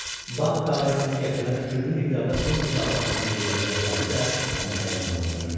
Bank qarətçisini gətirənə külli miqdarda pul mükafatının veriləcəyi vədi də onu həyəcanlandırırdı.